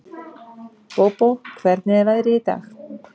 Bóbó, hvernig er veðrið í dag?